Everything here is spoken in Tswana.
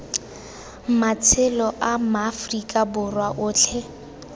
matshelo a maaforika borwa otlhe